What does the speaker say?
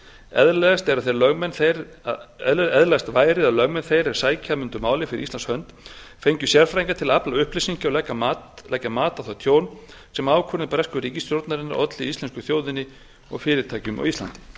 eðlilegast væri að lögmenn þeir er sækja mundu málið fyrir íslands hönd fengju sérfræðinga til að afla upplýsinga og leggja mat á það tjón sem ákvörðun bresku ríkisstjórnarinnar olli íslensku þjóðinni og fyrirtækjum á íslandi